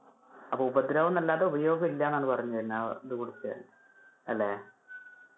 അപ്പൊ ഉപദ്രവം എന്ന് അല്ലാതെ, ഉപയോഗും ഇല്ല എന്നാണ് പറഞ്ഞു വരുന്നേ ആ ഇത് കുടിച്ചാൽ അല്ലെ.